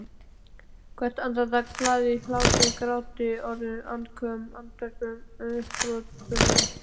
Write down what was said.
Hvert andartak hlaðið hlátri gráti orðum andköfum andvörpum upphrópunum.